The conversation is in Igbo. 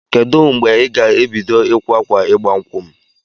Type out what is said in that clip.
Kedụ mgbe ị ga-ebido ịkwa akwa ịgba nkwụ m?